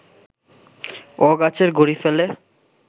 ও গাছের গুঁড়ি ফেলে